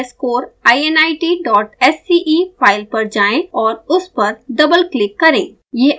ser underscore init dot sce file पर जाएँ और उस पर डबल क्लिक करें